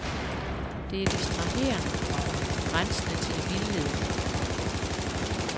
Det er distraherende, komma grænsende til det vildledende. punktum